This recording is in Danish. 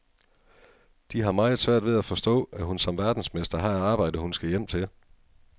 De har meget svært ved at forstå, at hun som verdensmester har et arbejde, hun skal hjem til.